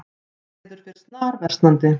Veður fer snarversnandi